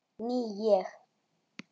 Ný ég.